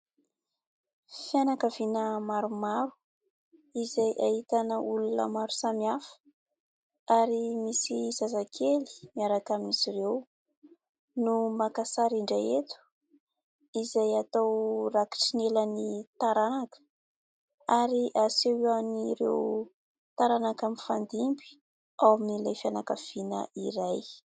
Fianakaviana maromaro izay ahitana olona maro samy hafa ary misy zazakely miaraka amin'izy ireo no maka sary indray eto izay atao rakitry ny ela ny taranaka ary aseho eo an'ireo taranaka mifandimby ao amin'ilay fianakaviana iray.